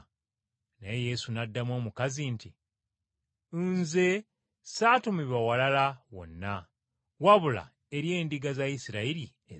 Naye Yesu n’addamu omukazi nti, “Nze saatumibwa walala wonna, wabula eri endiga za Isirayiri ezaabula.”